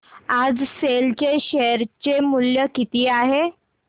आज सेल चे शेअर चे मूल्य किती आहे